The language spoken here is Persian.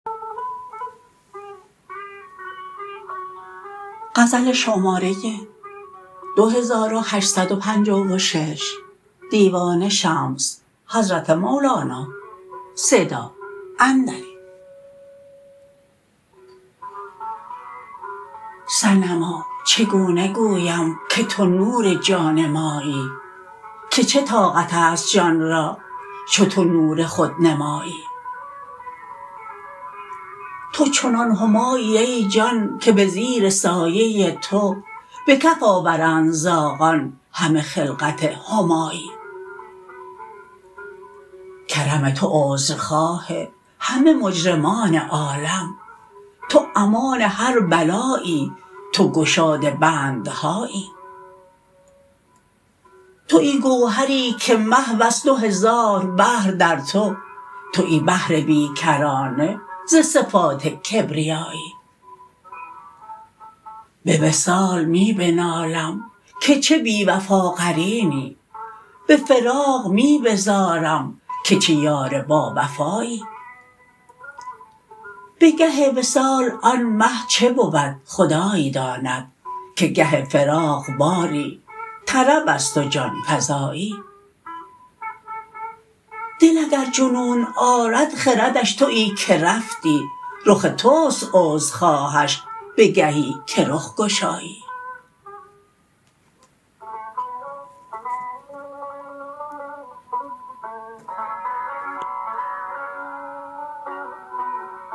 صنما چگونه گویم که تو نور جان مایی که چه طاقت است جان را چو تو نور خود نمایی تو چنان همایی ای جان که به زیر سایه تو به کف آورند زاغان همه خلعت همایی کرم تو عذرخواه همه مجرمان عالم تو امان هر بلایی تو گشاد بندهایی توی گوهری که محو است دو هزار بحر در تو توی بحر بی کرانه ز صفات کبریایی به وصال می بنالم که چه بی وفا قرینی به فراق می بزارم که چه یار باوفایی به گه وصال آن مه چه بود خدای داند که گه فراق باری طرب است و جان فزایی دل اگر جنون آرد خردش تویی که رفتی رخ توست عذرخواهش به گهی که رخ گشایی